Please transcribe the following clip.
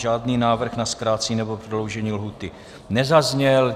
Žádný návrh na zkrácení nebo prodloužení lhůty nezazněl.